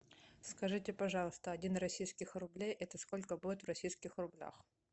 скажите пожалуйста один российских рублей это сколько будет в российских рублях